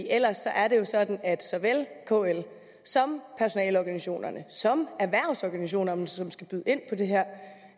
ellers er det jo sådan at såvel kl som personaleorganisationerne som erhvervsorganisationerne som skal byde ind på det her